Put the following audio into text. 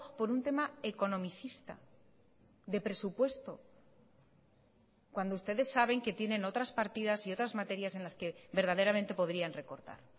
por un tema economicista de presupuesto cuando ustedes saben que tienen otras partidas y otras materias en las que verdaderamente podrían recortar